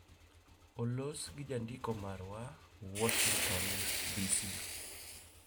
Olos gi jandiko marwa, Warshington, DC